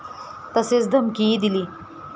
तसेच धमकीही दिली.